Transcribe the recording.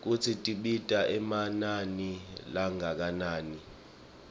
kutsi tibita emanani langakanani